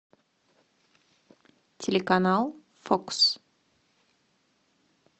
телеканал фокс